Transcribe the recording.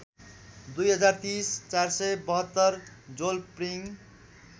२०३० ४७२ जोलप्रिङ